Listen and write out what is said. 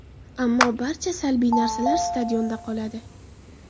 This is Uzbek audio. Ammo barcha salbiy narsalar stadionda qoladi.